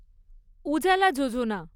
উজালা যোজনা